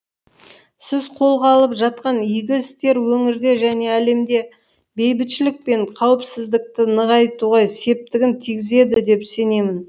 сіз қолға алып жатқан игі істер өңірде және әлемде бейбітшілік пен қауіпсіздікті нығайтуға септігін тигізеді деп сенемін